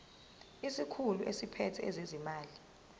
isikhulu esiphethe ezezimali